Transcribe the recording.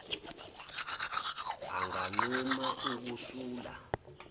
anganquma uku sula